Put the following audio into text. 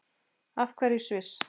Af hverju Sviss?